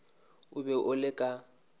o be o le ka